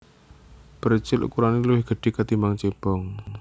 Precil ukurane luwih gedhe katimbang cebong